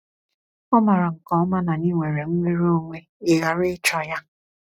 Ọ maara nke ọma na anyị nwere nnwere onwe ịghara ịchọ Ya.